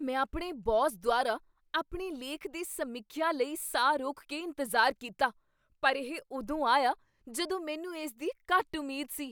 ਮੈਂ ਆਪਣੇ ਬੌਸ ਦੁਆਰਾ ਆਪਣੇ ਲੇਖ ਦੀ ਸਮੀਖਿਆ ਲਈ ਸਾਹ ਰੋਕ ਕੇ ਇੰਤਜ਼ਾਰ ਕੀਤਾ, ਪਰ ਇਹ ਉਦੋਂ ਆਇਆ ਜਦੋਂ ਮੈਨੂੰ ਇਸ ਦੀ ਘੱਟ ਉਮੀਦ ਸੀ।